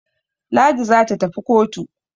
Ladi za ta tafi kotu.